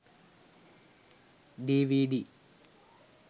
dvd